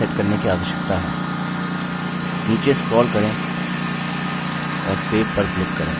नीचे स्क्रोल करें और save पर क्लिक करें